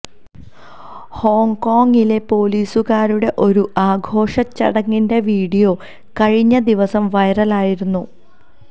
ഹോങ്കോങ്ങിലെ പോലീസുകാരുടെ ഒരു ആഘോഷ ചടങ്ങിന്റെ വീഡിയോ കഴിഞ്ഞ ദിവസം വൈറലായിരുന്നു